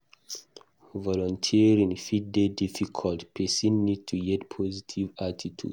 Volunteering fit dey difficult, person need to get positive attitude